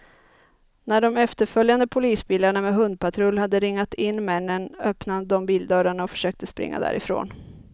När de efterföljande polisbilarna med hundpatrull hade ringat in männen, öppnade de bildörrarna och försökte springa därifrån.